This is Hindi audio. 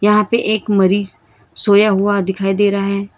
यहां पे एक मरीज सोया हुआ दिखाई दे रहा है।